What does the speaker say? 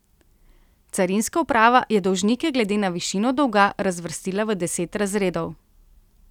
Carinska uprava je dolžnike glede na višino dolga razvrstila v deset razredov.